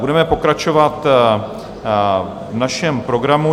Budeme pokračovat v našem programu.